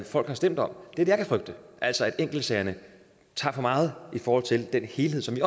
folk har stemt om det er det jeg kan frygte altså at enkeltsagerne tager for meget i forhold til den helhed som vi